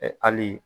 ali